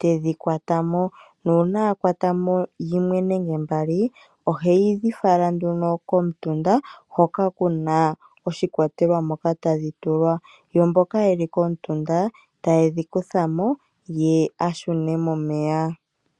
tedhi kwatamo nuuna a kwata yimwe nenge ndatu ohedhi fala komutunda hoka kuna oshikwatelwa moka tadhi tulwa. Mboka yeli komutunda ta yedhi kuthamo ye ashune momeya.